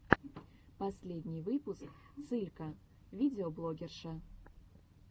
последний выпуск цылька видеоблогерша